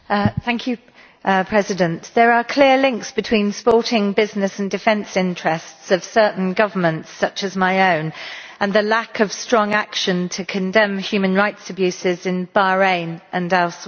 Mr President, there are clear links between the sporting, business and defence interests of certain governments such as my own and the lack of strong action to condemn human rights abuses in Bahrain and elsewhere.